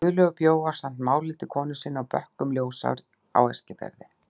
Guðlaugur bjó ásamt Málhildi, konu sinni, á bökkum Ljósár á Eskifirði.